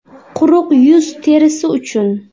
Quruq yuz terisi uchun .